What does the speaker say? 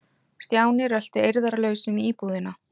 Stjáni rölti eirðarlaus um íbúðina.